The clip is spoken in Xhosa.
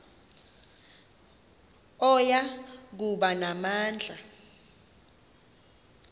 oya kuba namandla